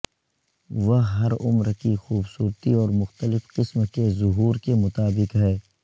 وہ ہر عمر کی خوبصورتی اور مختلف قسم کے ظہور کے مطابق ہے